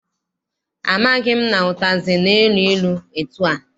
Amaghị m na ụtazị na-elu ilu etua.